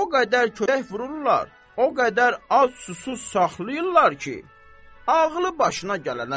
O qədər kötək vururlar, o qədər ac-susuz saxlayırlar ki, ağlı başına gələnə qədər.